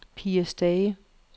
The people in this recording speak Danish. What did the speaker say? Pia Stage